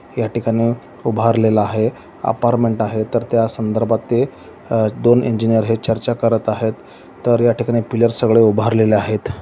या ठिकाणी उभारलेला आहे अपारमेंन्ट आहे तर त्या संदर्भात ते अं दोन इंजिनिअर है चर्चा करत आहेत तर या ठिकाणी पिल्लर सगळे उभारलेले आहेत.